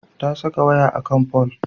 Ta saka waya a kan fol.